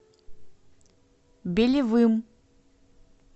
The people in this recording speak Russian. белевым